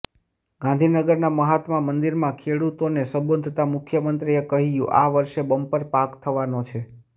ગાંધીનગરના મહાત્મા મંદિરમાં ખેડુતોને સંબોધતા મુખ્યમંત્રીએ કહ્યું આ વર્ષે બમ્પર પાક થવાનો છે